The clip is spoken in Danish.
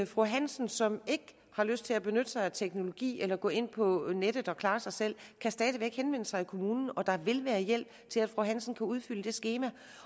fru hansen som ikke har lyst til at benytte sig af teknologien eller gå ind på nettet og klare sig selv stadig væk kan henvende sig i kommunen og der vil være hjælp til at fru hansen kan udfylde et skema